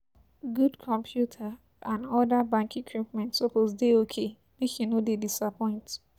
Good computer and other bank equipment suppose dey ok, make e no dey disappoint.